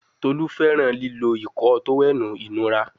Tolu fẹràn lilo Ìkọ́ọ tówẹ́ẹ̀nù inura